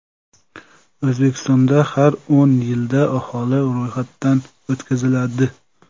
O‘zbekistonda har o‘n yilda aholi ro‘yxatdan o‘tkaziladi.